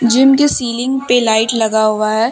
जिनके सीलिंग पे लाइट लगा हुआ है।